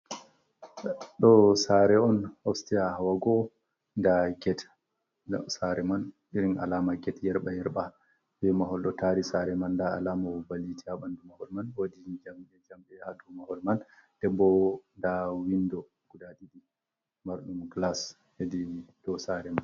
Ɗo saare’on osteya wa'ugo ndaa get saare man, irin alaama get yerɓayerɓa be mahol ɗo taari saare man. Ndaa alaama bo, ba yiite a ɓanndu mahol man bo .Woodi njamɗe njamɓe haa dow mahol man dembo ndaa winndo guda ɗiɗi, marɗum gilas hedi dow saare man.